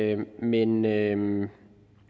jeg mene men